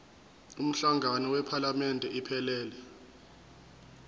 umhlangano wephalamende iphelele